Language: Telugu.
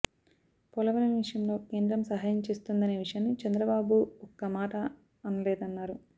పోలవరం విషయంలో కేంద్రం సహాయం చేస్తుందనే విషయాన్ని చంద్రబాబు ఒక్క మాట అనలేదన్నారు